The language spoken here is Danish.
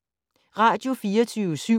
Radio24syv